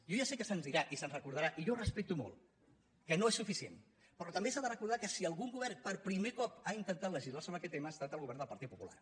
jo ja sé que se’ns dirà i se’ns recordarà i jo ho respecto molt que no és sufici·ent però també s’ha de recordar que si algun govern per primer cop ha intentat legislar sobre aquest tema ha estat el govern del partit popular